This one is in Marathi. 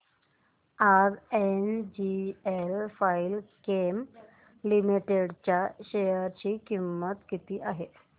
आज एनजीएल फाइनकेम लिमिटेड च्या शेअर ची किंमत किती आहे